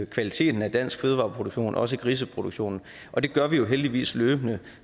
kvaliteten af dansk fødevareproduktion også griseproduktionen og det gør vi jo heldigvis løbende